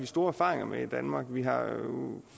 store erfaringer med i danmark vi har